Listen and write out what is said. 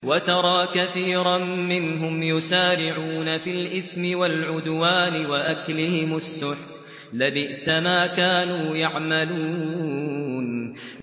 وَتَرَىٰ كَثِيرًا مِّنْهُمْ يُسَارِعُونَ فِي الْإِثْمِ وَالْعُدْوَانِ وَأَكْلِهِمُ السُّحْتَ ۚ لَبِئْسَ مَا كَانُوا يَعْمَلُونَ